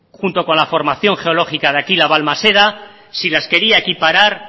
junto con la formación geológica de aquí la balmaseda si las quería equiparar